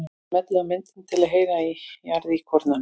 Smellið á myndina til að heyra í jarðíkornanum.